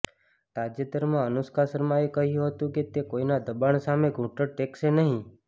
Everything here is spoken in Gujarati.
તાજેતરમાં અનુષ્કા શર્માએ કહ્યું હતું કે તે કોઈના દબાણ સામે ઘૂંટણ ટેકશે નહી